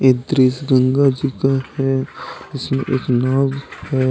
दृश्य गंगा जी का है इसमें एक नाव है।